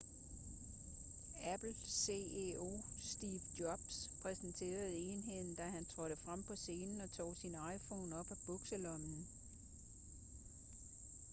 apple ceo steve jobs præsenterede enheden da han trådte frem på scenen og tog sin iphone op af bukselommen